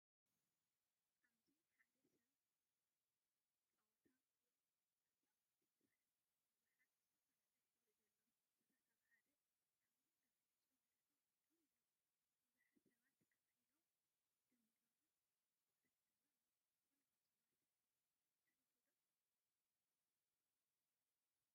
ኣብዚ ሓደ ሰብ ጸወታ ፑል ክጻወት ይርአ። ብዙሓት ዝተፈላለየ ሕብሪ ዘለዎም ኩዕሶታት ኣብ ሓደ ዓቢን ገፊሕን ሰሌዳ ተቀሚጠም ኣለው። ብዙሓት ሰባት ኮፍ ኢሎምን ደው ኢሎምን ጸወታ ይዕዘቡ ኣለው። ፑል ምጽዋት ትፈትው ዶ?